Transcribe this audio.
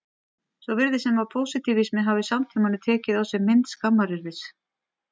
Svo virðist sem að pósitífismi hafi í samtímanum tekið á sig mynd skammaryrðis.